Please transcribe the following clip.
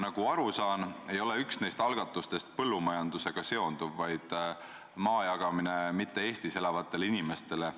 Nagu ma aru saan, üks neist algatustest ei seondu põllumajandusega, vaid on maa jagamine mitte Eestis elavatele inimestele.